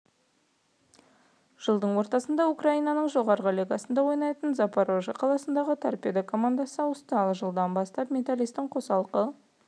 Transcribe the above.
жылдың ортасында украинаның жағарғы лигасында ойнайтын запорежье қаласының торпедо командасына ауысты ал жылдан бастап металлисттің қосалқы